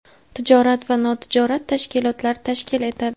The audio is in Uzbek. tijorat va notijorat tashkilotlar tashkil etadi.